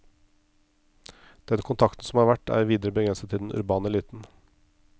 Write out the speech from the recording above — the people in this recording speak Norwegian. Den kontakten som har vært er videre begrenset til den urbane eliten.